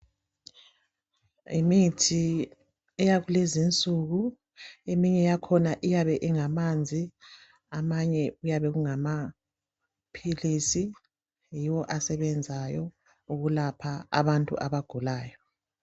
Yimithi eyakulezinsuku. Eminye yakhona iyaba ingamanzi, amanye ngamaphilisi. Yiwo asebenzayo ukulapha abantu abagulayo.